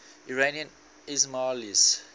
iranian ismailis